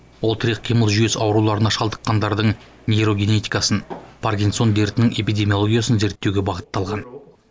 ол тірек қимыл жүйесі ауруларына шалдыққандардың нейрогенетикасын паркинсон дертінің эпидемиологиясын зерттеуге бағытталған